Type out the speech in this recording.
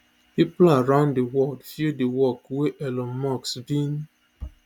pipo around di world feel di work wey elon musk bin